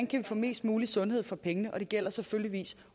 kan få mest mulig sundhed for pengene og det gælder selvfølgelig